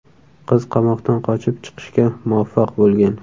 Qiz qamoqdan qochib chiqishga muvaffaq bo‘lgan.